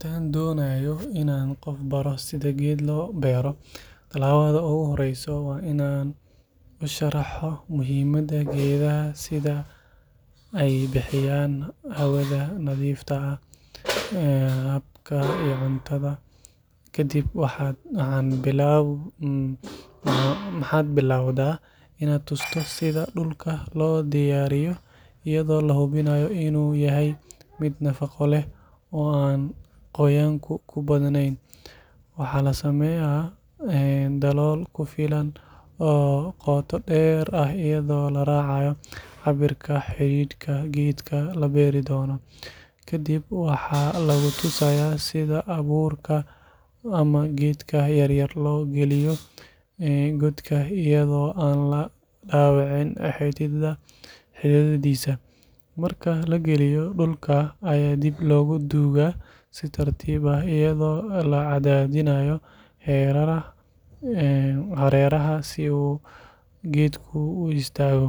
Haddii aad dooneyso inaad qof baro sida geed loo beero, talaabada ugu horreysa waa in aad u sharaxdo muhiimadda geedaha sida in ay bixiyaan hawada nadiifta ah, hadhka iyo cunto. Kadib waxaad bilowdaa inaad tuso sida dhulka loo diyaariyo iyadoo la hubinayo inuu yahay mid nafaqo leh oo aan qoyaanku ku badnayn. Waxaa la sameeyaa dalool ku filan oo qoto dheer ah iyadoo la raacayo cabbirka xididka geedka la beeri doono. Ka dib waxaa lagu tusayaa sida abuurka ama geedka yaryar loo geliyo godka iyadoo aan la dhaawicin xididdadiisa. Marka la geliyo, dhulka ayaa dib loogu duugaa si tartiib ah iyadoo la cadaadinayo hareeraha si uu geedku u istaago.